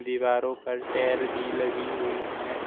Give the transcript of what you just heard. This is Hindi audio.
दीवारों पर टैल भी लगी हुई हैं।